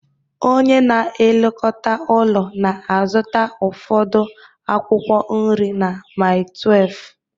Onye na-elekọta ụlọ na-azụta ụfọdụ akwụkwọ nri na Mile 12